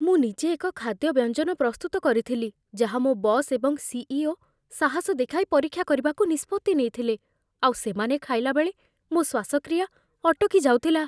ମୁଁ ନିଜେ ଏକ ଖାଦ୍ୟ ବ୍ୟଞ୍ଜନ ପ୍ରସ୍ତୁତ କରିଥିଲି, ଯାହା ମୋ ବସ୍ ଏବଂ ସି.ଇ.ଓ. ସାହସ ଦେଖାଇ ପରୀକ୍ଷା କରିବାକୁ ନିଷ୍ପତ୍ତି ନେଇଥିଲେ। ଆଉ ସେମାନେ ଖାଇଲାବେଳେ ମୋ ଶ୍ଵାସକ୍ରିୟା ଅଟକି ଯାଉଥିଲା।